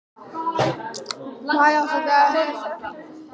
Hann hefur ævinlega verið metnaðargjarn.